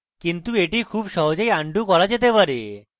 কিন্তু এটি খুব সহজেই আনডু করা যেতে পারে